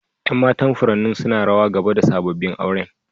Yan matan furannin suna rawa gaba da sabobin auren.